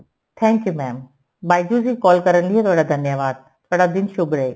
thank you mam byju's ਵਿੱਚ call ਕਰਨ ਲਿਏ ਤੁਹਾਡਾ ਧੰਨਿਆਵਾਦ ਤੁਹਾਡਾ ਦਿਨ ਸ਼ੁਭ ਰਹੇ